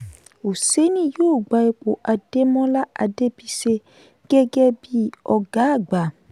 oseni yóò gba ipò ademola adebise gẹ́gẹ́ bíi ọgá àgbà.